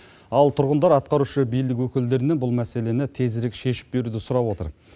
ал тұрғындар атқарушы билік өкілдерінен бұл мәселені тезірек шешіп беруді сұрап отыр